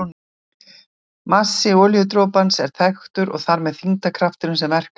Massi olíudropans var þekktur og þar með þyngdarkrafturinn sem verkaði á hann.